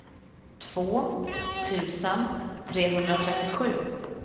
två tusen trehundratrettiosju